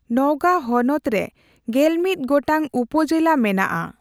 ᱱᱚᱣᱜᱟ ᱦᱚᱱᱚᱛ ᱨᱮᱜᱮᱞᱢᱤᱛ ᱜᱚᱴᱟᱝ ᱩᱯᱚᱡᱮᱞᱟ ᱢᱮᱱᱟᱜ ᱟ᱾